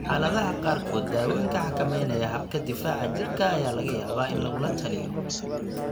Xaaladaha qaarkood, daawooyinka xakameynaya habka difaaca jirka ayaa laga yaabaa in lagula taliyo.